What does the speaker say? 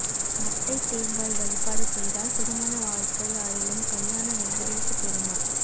மட்டைத் தேங்காய் வழிபாடு செய்தால் திருமண வாழ்க்கை அருளும் கல்யாண வெங்கடேச பெருமாள்